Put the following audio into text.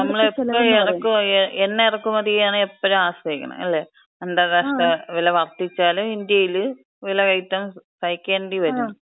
നമ്മള് എപ്പഴും ഈ ഇറക്കുമതി, എണ്ണ ഇറക്കുമതി ചെയ്യാണേല് എപ്പഴും ആശ്രയിക്കണെ. അല്ലേ? അന്താരാഷ്ട്ര വില വർധിച്ചാലും ഇന്ത്യയില് വിലകയറ്റം സഹിക്കേണ്ടിവരും.